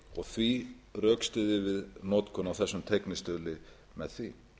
og því rökstyðjum við notkun á þessum teygnistuðli með því